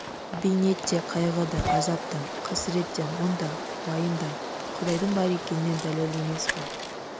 бейнет те қайғы да азап та қасірет те мұң да уайым да құдайдың бар екеніне дәлел емес қой